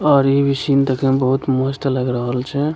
और ई भी सीन देखे में बहुत मस्त लग रहल छे।